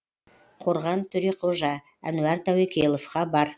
қорған төреқожа әнуар тәуекелов хабар